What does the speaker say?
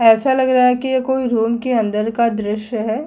ऐसा लग रहा है कि यह कोई रूम के अंदर का दृश्य है।